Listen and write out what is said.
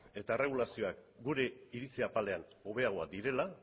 eta erregulazioak gure iritzi apalean hobeagoak direla